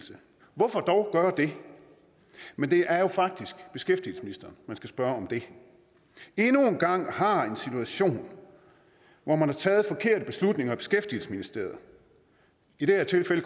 hvorfor dog gøre det men det er jo faktisk beskæftigelsesministeren man skal spørge om det endnu en gang har en situation hvor man har taget forkerte beslutninger i beskæftigelsesministeriet i det her tilfælde